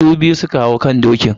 Su biyu su ka hau kan dokin.